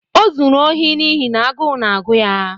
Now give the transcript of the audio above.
O zuru ohi n’ihi na agụụ na-agụ ya.